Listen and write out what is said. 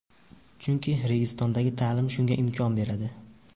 Chunki Registon’dagi ta’lim shunga imkon beradi.